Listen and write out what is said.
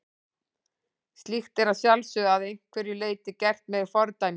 Slíkt er að sjálfsögðu að einhverju leyti gert með fordæmingu.